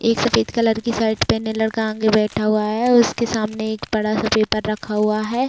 एक सफेद कलर की शर्ट पहने लड़का आगे बैठा हुआ है उसके सामने एक बड़ा- सा पेपर रखा हुआ हैं।